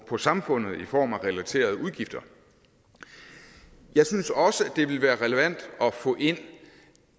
på samfundet i form af relaterede udgifter jeg synes også at det ville være relevant at få ind